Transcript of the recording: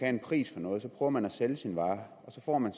en pris for noget så prøver man at sælge sin vare så får man